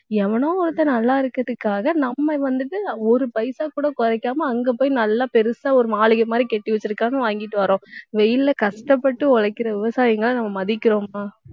எவனோ ஒருத்தன் நல்லா இருக்கிறதுக்காக நம்ம வந்துட்டு, ஒரு பைசா கூட குறைக்காம அங்க போய் நல்லா பெருசா ஒரு மாளிகை மாதிரி கட்டி வச்சிருக்காங்க வாங்கிட்டு வர்றோம். வெயில்ல கஷ்டப்பட்டு உழைக்கிற விவசாயிங்களை நம்ம மதிக்கிறோமா?